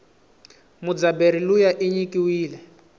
mudzabheri luya inyikiwile